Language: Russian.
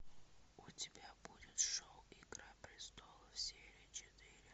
у тебя будет шоу игра престолов серия четыре